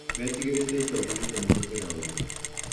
Metigĩrĩte itonga nĩ kũmahũthĩra ũru